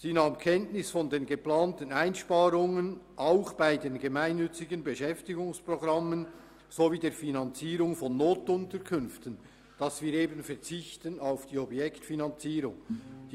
Sie nahm Kenntnis von den geplanten Einsparungen bei den gemeinnützigen Beschäftigungsprogrammen sowie bei der Finanzierung von Notunterkünften, wo wir auf die Objektfinanzierung verzichten.